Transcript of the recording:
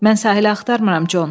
Mən sahilə axtarmıram, Con.